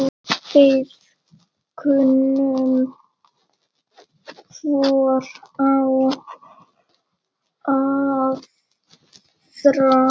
Við kunnum hvor á aðra.